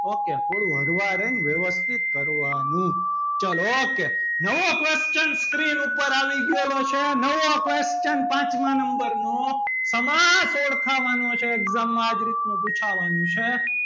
ok થોડું હરવા રે વ્યવસ્થિત કરવાનું ચલો ok નવો question screen ઉપર આવી ગયેલો છે નવો question પાંચમા number નો સમાસ ઓળખાવવાનો છે exam માં આ રીતનું જ પૂછવાનું છે.